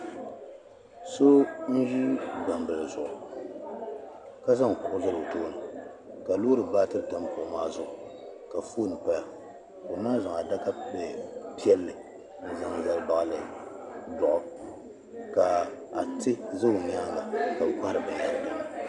so n-ʒi gbambili zuɣu ka zaŋ kuɣu zali o tooni ka loori baatiri tam kuɣu maa zuɣu ka foon paya ka o naai zaŋ adaka piɛlli n-zaŋ zali baɣili dɔɣu ka atiɛ za o nyaaga ka bɛ kɔhiri binyɛra din ni.